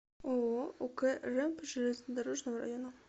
ооо ук рэмп железнодорожного района